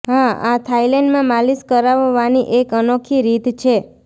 હા આ થાઇલેન્ડમાં માલિશ કરાવવાની એક અનોખી રીત છે